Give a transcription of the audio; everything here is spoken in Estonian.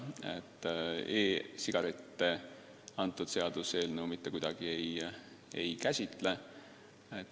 E-sigarette see seaduseelnõu mitte kuidagi ei käsitle.